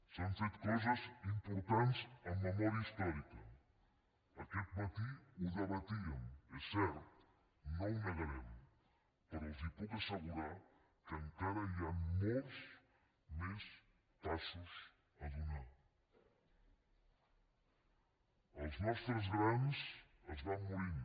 s’han fet coses importants en memòria històrica aquest mati ho debatíem és cert no ho negarem però els puc assegurar que encara hi han molts els nostres grans es van morint